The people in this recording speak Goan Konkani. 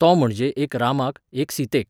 तो म्हणजे एक रामाक, एक सीतेक.